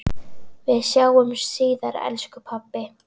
Við sjáumst síðar elsku pabbi.